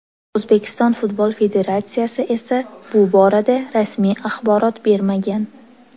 O‘zbekiston futbol federatsiyasi esa bu borada rasmiy axborot bermagan.